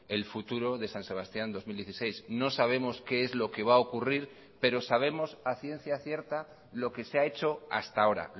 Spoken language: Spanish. el futuro de san sebastián dos mil dieciséis no sabemos qué es lo que va a ocurrir pero sabemos a ciencia cierta lo que se ha hecho hasta ahora